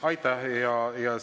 Aitäh!